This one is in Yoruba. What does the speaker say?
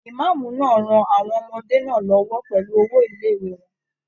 Imaamu náà rán àwọn ọmọdé náà l'ọwọ pẹlú owo ilé-ìwé wọn.